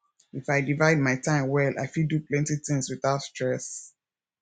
if i divide my time well i fit do plenty things without stress